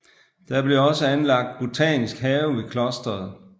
Der blev også anlagt botanisk have ved klosteret